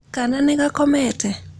Kaana nĩ gakomete?